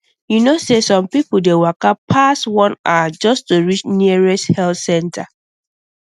you know say some people dey waka pass one hour just to reach nearest health center